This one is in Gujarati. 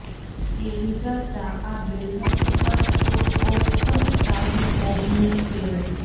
તેવી ચર્ચા આ બેઠક ઉપર ટોક ઓફ ધ ટાઉન ઔબની છે